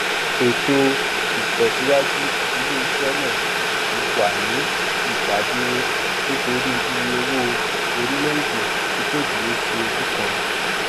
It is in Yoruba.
ètò ìtẹsíwájú iléiṣẹ náà ti wà ní ìdádúró nítorí iye owó orílẹèdè tí kò dúró sí ojú kan